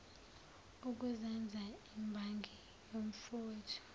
ukuzenza imbangi yomfowethu